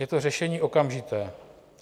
Je to řešení okamžité.